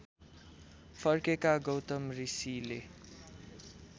फर्केका गौतम ऋषिले